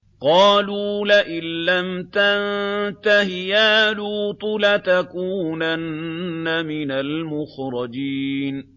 قَالُوا لَئِن لَّمْ تَنتَهِ يَا لُوطُ لَتَكُونَنَّ مِنَ الْمُخْرَجِينَ